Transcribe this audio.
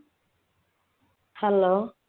hello